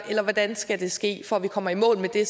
hvordan skal det ske for at vi kommer i mål med det